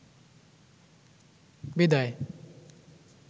বিদায়